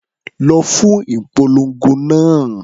Lọ fún ìpolongo náà.